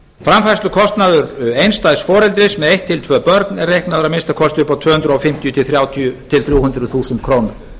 framfærslukostnaður einstæðs foreldris með eitt til tvö börn er reiknaður að minnsta kosti upp á tvö hundruð fimmtíu til þrjú hundruð þúsund krónur